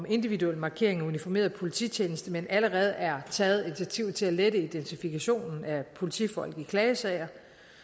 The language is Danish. individuel markering af uniformerede polititjenestemænd allerede er taget initiativ til at lette identifikationen af politifolk i klagesager